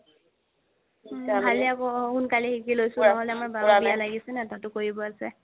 উম ভালে সোণকালে শিকি লৈছো নহ'লে আমাৰ বাও বিয়া লাগিছে ন তাতো কৰিব আছে